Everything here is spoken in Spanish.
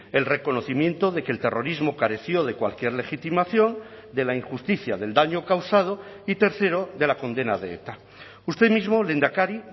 el reconocimiento de que el terrorismo careció de cualquier legitimación de la injusticia del daño causado y tercero de la condena de eta usted mismo lehendakari